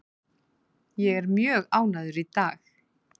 Ég er mjög ánægður í dag.